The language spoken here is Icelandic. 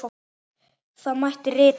Þá mætti rita